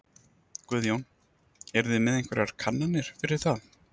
Guðjón: Eruð þið með einhverjar kannanir fyrir það?